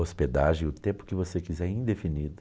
hospedagem, o tempo que você quiser, indefinido.